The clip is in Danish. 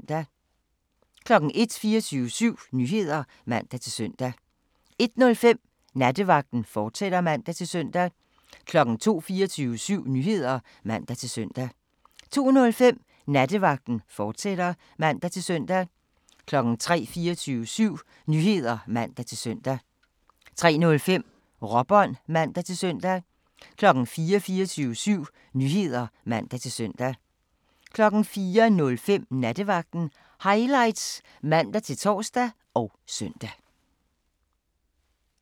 01:00: 24syv Nyheder (man-søn) 01:05: Nattevagten, fortsat (man-søn) 02:00: 24syv Nyheder (man-søn) 02:05: Nattevagten, fortsat (man-søn) 03:00: 24syv Nyheder (man-søn) 03:05: Råbånd (man-søn) 04:00: 24syv Nyheder (man-søn) 04:05: Nattevagten Highlights (man-tor og søn)